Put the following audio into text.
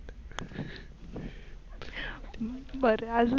बर आजून?